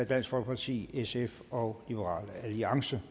dansk folkeparti sf og liberal alliance